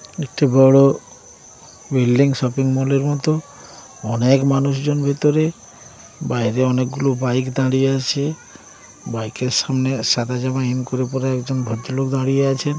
একটি বড় building shopping mall এর মত অনেক মানুষজন ভেতরে বাইরে অনেকগুলো বাইক দাঁড়িয়ে আছে বাইক -এর সামনে সাদা জামা ইন করে পরা একজন ভদ্রলোক দাঁড়িয়ে আছেন।